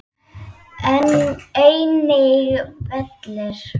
Einnig vellir.